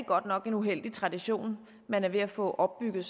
godt nok en uheldig tradition man er ved at få opbygget